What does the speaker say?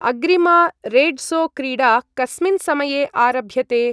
अग्रिमा रेड्सो-क्रीडा कस्मिन् समये आरभ्यते?